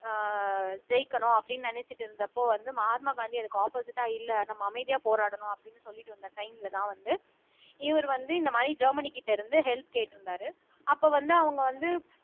அஹ் ஜெயிக்கணும் அப்படீன்னு நினைச்சிட்டு இருந்தப்போ வந்து மகாத்மா காந்தி அதுக்கு ஆப்போசிட்டா இல்ல நம்ம அமைதியா போராடணும் அப்படின்னு சொல்லிட்டு இருந்த டைம்லதான் வந்து இவர் வந்து இந்த மாதிரி ஜெர்மனி கிட்ட இருந்து ஹெல்ப் கேட்டிருந்தாரு அப்ப வந்து அவங்க வந்து